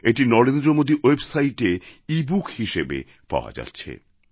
এটি নরেন্দ্র মোদী ওয়েবসাইটএও ইবুক হিসেবে পাওয়া যাচ্ছে